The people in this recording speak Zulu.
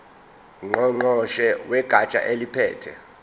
ngqongqoshe wegatsha eliphethe